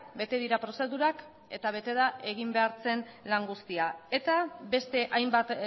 bete dira prozedurak eta bete da egin behar zen lan guztia eta beste hainbat